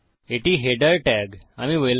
এটি header tag আমি welcome